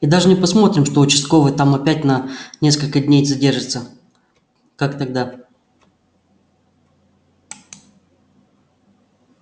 и даже не посмотрим что участковый там опять на несколько дней задержится как тогда